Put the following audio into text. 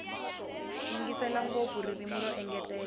yingisela ngopfu ririmi ro engetela